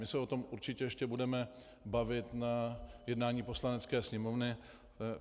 My se o tom určitě ještě budeme bavit na jednání Poslanecké sněmovny.